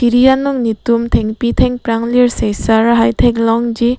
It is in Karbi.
thiri along netum thengpi thengprang lirseng sang ason theklongji.